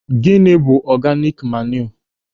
Gịnị bụ ọganik manịụ?